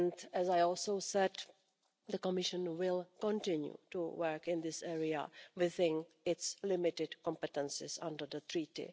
As I also said, the Commission will continue to work in this area within its limited competences under the Treaty.